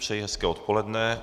Přeji hezké odpoledne.